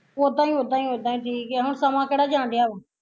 ਉਦਾ ਈ ਉਦਾ ਈ ਉਦਾ ਈ ਠੀਕ ਆ ਹੁਣ ਸਮਾਂ ਕਿਹੜਾ ਜਾਣ ਡਿਆ ਵਾ